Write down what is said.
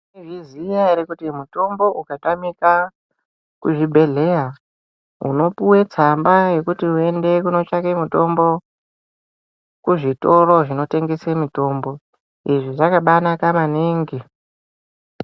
Mwaizviziya ere, kuti mutombo ukatamika kuzvibhedhleya, munopuwe tsamba, yekuti muende kunotsvaka mutombo, kuzvitoro zvinotengese mitombo. Izvi zvakabaanaka maningi.